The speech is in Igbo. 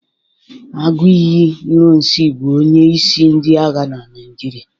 aguiyi ironsi bu onye isi ndi agha na Naijiria.